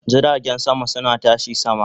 Jiragen sama suna tashi sama